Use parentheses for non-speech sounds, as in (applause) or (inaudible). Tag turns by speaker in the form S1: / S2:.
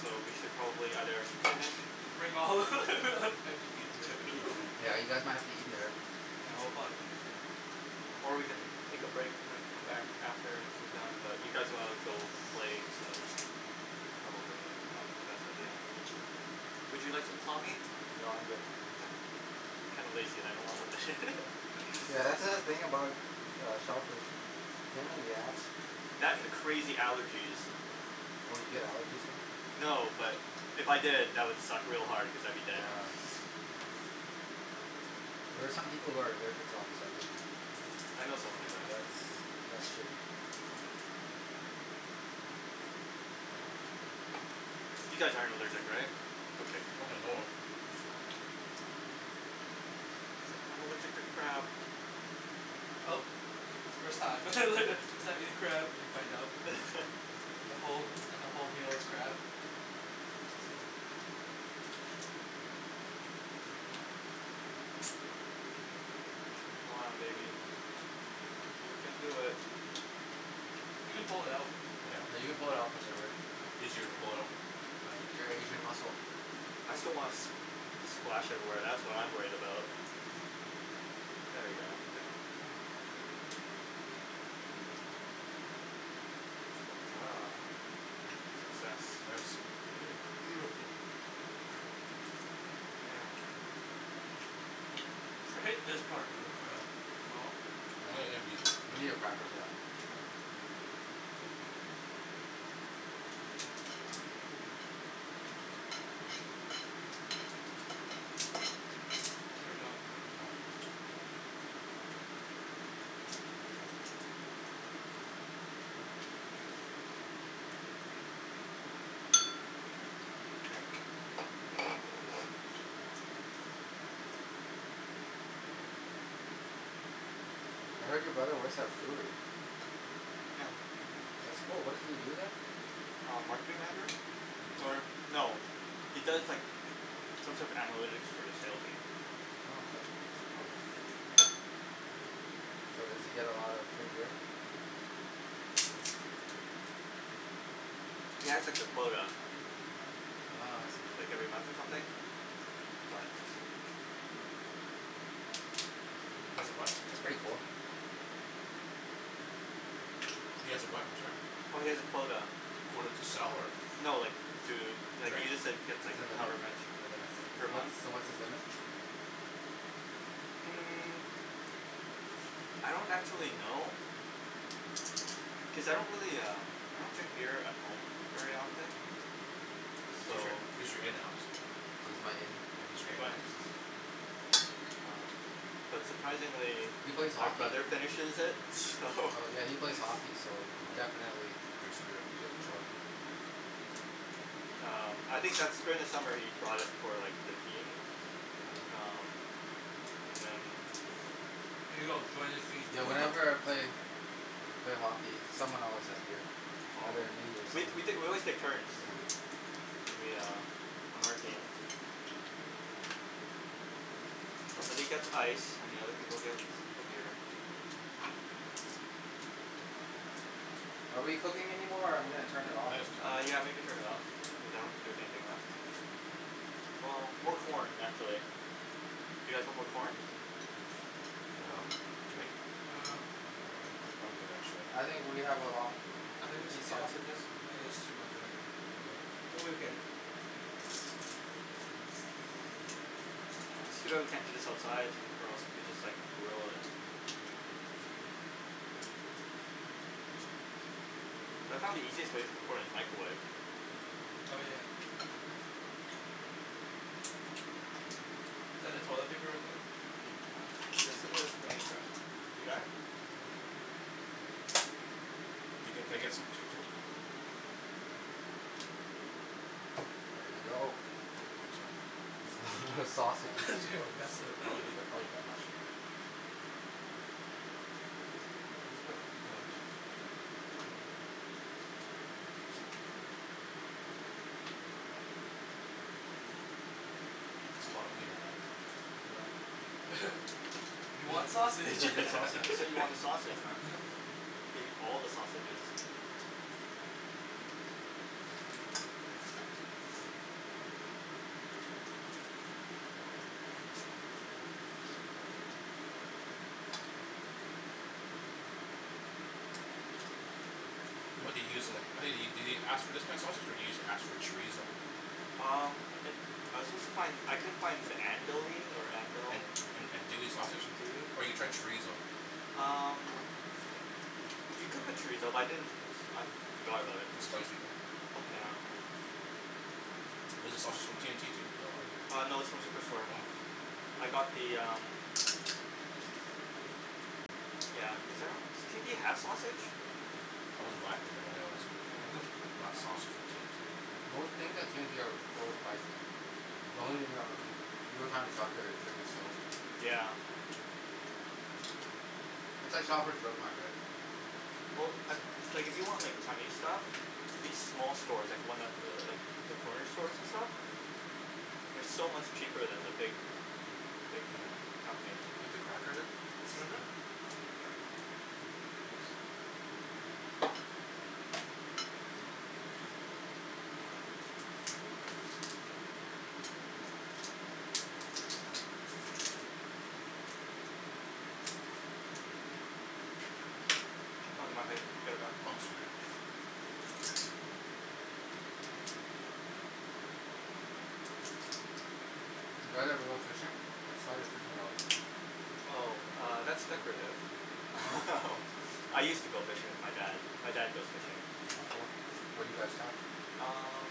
S1: so we should probably either finish
S2: Bring all (laughs) and just eat it
S1: eating.
S3: No
S2: there
S4: Yeah,
S2: (laughs)
S4: you guys might have to eat in there.
S2: No we'll probably finish soon.
S1: Or we can take a break and then come back after we're done but you guys wanna go play, so, probably not the best idea. Would you like some claw meat?
S4: No, I'm good.
S1: (noise) I'm kinda lazy and I don't wanna open it. (laughs)
S4: (laughs) That's the thing about uh shellfish, it's a pain in the ass.
S1: That and the crazy allergies
S4: Oh you get allergies from them?
S1: No, but if I did, that would suck real hard cuz I'd be dead.
S4: Yeah. There are some people who are allergic to almost everything.
S1: I know someone like that.
S4: That's, that's shitty.
S1: You guys aren't allergic, right? Okay.
S3: Not that I know of.
S2: Nah.
S1: I'm allergic to crab!
S2: Oh, first time (laughs) first time eating crab and you find out,
S1: (laughs)
S2: and the whole, the whole meal is crab.
S1: Come on baby. You can do it.
S2: You can pull it out.
S3: Yeah,
S4: Yeah, you
S3: you
S4: can
S3: can pull
S4: pull it
S3: it out.
S4: out from there, Rick.
S3: Easier to pull it out.
S4: Uh use your Asian muscle.
S1: I just don't wanna s- the splash everywhere, that's what I'm worried about. There we go, okay. (inaudible) Success.
S3: Nice.
S2: Yes, beautiful.
S1: Mhm.
S2: I hate this part of uh the claw
S4: Yeah, you need a
S3: (inaudible)
S4: cracker for that
S2: Get it done.
S3: (noise)
S1: (inaudible)
S4: I heard your brother works at a brewery.
S1: Yeah.
S4: That's cool, what does he do there?
S1: Um, marketing manager? Er, no, he does like, some sort of analytics for the sale team.
S4: Oh okay.
S2: (noise)
S4: So does he get a lot of free beer?
S1: He has like a quota.
S4: Ah I see.
S1: Like every month or something, but
S4: That's pretty cool.
S3: He has a what, I'm sorry?
S1: Oh he has a quota,
S3: A quota to sell or?
S1: no like, to, like,
S3: Drink
S1: he just like, gets like, however much per month.
S4: So what's his limit?
S1: Mm, I don't actually know, cuz I don't really um, I don't drink beer at home very often, so
S3: He's your, he's your in, Alex.
S4: He's my in?
S3: Yeah, he's your in.
S1: (inaudible) um, but surprisingly,
S4: He plays
S1: my
S4: hockey.
S1: brother finishes it, so
S4: Oh yeah, he
S1: (laughs)
S4: plays hockey so definitely
S3: Free spirit
S4: Drinks quota
S2: (noise)
S1: Um, I think that's, during the summer, he brought it for like the team,
S3: (noise)
S1: um, and then
S2: Here you go, join his team.
S4: Yeah, whenever I play, played hockey, someone always has beer,
S1: Oh,
S4: either me or
S1: we
S4: someone
S1: t- , we, always took turns,
S4: Yep.
S1: when we um, on our team. Somebody gets ice, and the other people get the beer.
S4: Are we cooking anymore or I'm gonna turn it off
S1: Uh yeah
S3: (inaudible)
S1: maybe turn it off, cuz I don't think there's anything left. Well, more corn actually. Do you guys want more corn?
S3: Um, Jimmy?
S2: Um
S3: I'm I'm I'm good actually.
S4: I think we have a lot,
S2: I think we
S4: want these
S2: sh- yeah,
S4: sausages?
S2: it is too much, Rick, I'm okay.
S1: It's too bad we can't do this outside, or else we could just like, grill it. I found the easiest way to cook corn is microwave.
S2: Oh yeah. Is that the toilet paper right there?
S1: Yes it is, can you gr- . You got it?
S2: Yeah.
S3: Can I, can I get, can I get some Jim- Jimmy?
S4: There you go.
S3: Thanks man.
S4: That's (laughs) a lot of
S3: That's
S4: sausages.
S2: (laughs) You are
S3: a lot of, I won't
S2: messy
S3: eat that, I won't eat
S2: (laughs)
S3: that much.
S2: I just put a bunch.
S3: That's a lot of wiener man.
S4: Yeah.
S2: (laughs) You want
S4: Yeah, you
S2: sausage (laughs)
S4: got
S1: You
S4: sausages.
S1: said you want the sausage, man. Give you all the sausages.
S3: What do you use in tha- (inaudible) did you ask for this kind of sausage or did you ask for chorizo?
S1: Um, I, I was supposed to find, I couldn't find, andouille or andel-
S3: An- , andouille sausage?
S1: andouille?
S3: Or you tried chorizo
S1: Um, you could put chorizo but I didn't, I forgot about it
S3: It's
S1: (laughs)
S3: spicy though.
S1: Yeah.
S3: Is the sausage from T&T too? No
S1: Uh no, it's from Superstore.
S3: Hm
S1: I got the um, yeah cuz I don't, does T&T have sausage?
S3: I wouldn't buy it from them anyways.
S2: (laughs)
S1: Yeah.
S3: Not sausage from T&T
S4: Most things at T&T are over overpriced. The only um the only time we shop there is during the sales.
S1: Yeah.
S4: It's like Shopper's Drug Mart right?
S1: Well, like, like, if you want like Chinese stuff, these small stores, like the ones th- like, the corner stores and stuff? They're so much cheaper than the big, big
S3: Yeah,
S1: companies.
S3: you have the cracker there?
S1: Mhm.
S3: (noise) Thanks.
S1: (inaudible) Oh that's my plate, I'll get it back.
S3: Oh sorry
S4: Did you guys ever go fishing? I saw your fishing rod.
S1: Oh, uh, that's decorative
S4: Oh.
S1: (laughs) I used to go fishing with my dad, my dad goes fishing.
S4: Oh cool. What do you guys catch?
S1: Um,